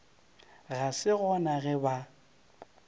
ga se gona ge ba